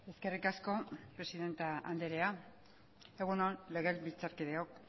eskerrik asko presidente anderea egun on legebiltzarkideok